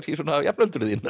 svona jafnöldrur þínar